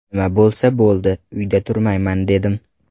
Nima bo‘lsa bo‘ldi, uyda turmayman dedim.